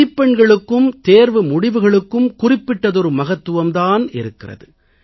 மதிப்பெண்களுக்கும் தேர்வு முடிவுகளுக்கும் குறிப்பிட்டதொரு மகத்துவம் தான் இருக்கிறது